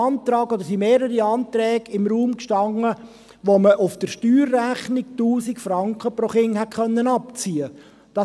Damals standen mehrere Anträge im Raum, gemäss derer man auf der Steuerrechnung 1000 Franken pro Kind hätte abziehen konnte.